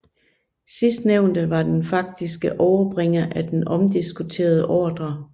Sidstnævnte var den faktiske overbringer af den omdiskuterede ordre